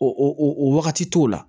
O o o wagati t'o la